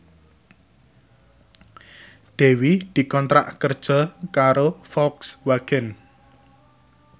Dewi dikontrak kerja karo Volkswagen